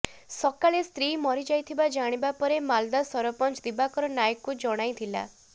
ସକାଳେ ସ୍ତ୍ରୀ ମରିଯାଇଥିବା ଜାଣିପାରି ମାଲଦା ସରପଞ୍ଚ ଦିବାକର ନାଏକଙ୍କୁ ଜଣାଇଥିଲା